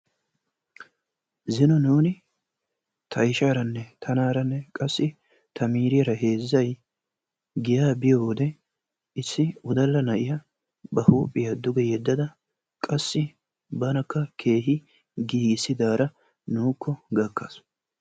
Zino nuuni, ta ishshaaranne tanaara qassi ta miriyyara heezzay giyaa biiyo wode issi wodalla na'iyaa ba huuphiya duge yedadda qassi banakka keehi giigissidaara nuukko gakkaasu.